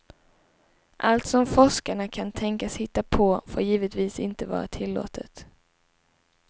Allt som forskarna kan tänkas hitta på får givetvis inte vara tillåtet.